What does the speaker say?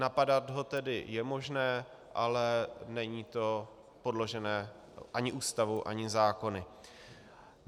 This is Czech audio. Napadat ho tedy je možné, ale není to podložené ani Ústavou ani zákony.